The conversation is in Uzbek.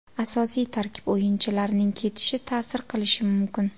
Asosiy tarkib o‘yinchilarining ketishi ta’sir qilishi mumkin.